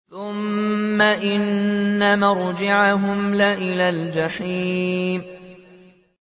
ثُمَّ إِنَّ مَرْجِعَهُمْ لَإِلَى الْجَحِيمِ